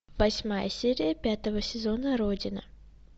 восьмая серия пятого сезона родина